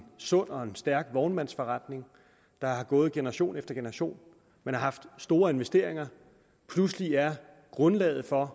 sund og en stærk vognmandsforretning der er gået generation efter generation man har haft store investeringer og pludselig er grundlaget for